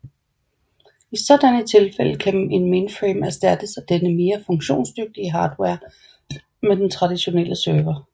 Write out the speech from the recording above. I sådan et tilfælde kan en mainframe erstatte denne mere funktionsdytige hardware med den traditionelle server